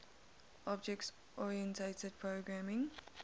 object oriented programming